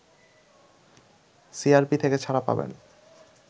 CRP থেকে ছাড়া পাবেন